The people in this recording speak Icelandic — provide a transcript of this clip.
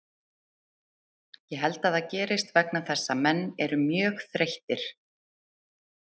Ég held að það gerist vegna þess að menn eru mjög þreyttir.